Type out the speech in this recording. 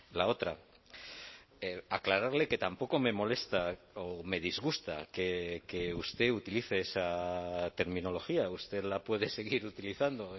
la otra aclararle que tampoco me molesta o me disgusta que usted utilice esa terminología usted la puede seguir utilizando